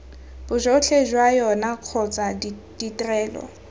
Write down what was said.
bojotlhe jwa yona kgotsa ditrelo